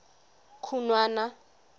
khunwana